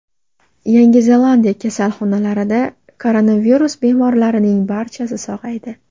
Yangi Zelandiya kasalxonalarida koronavirus bemorlarining barchasi sog‘aydi.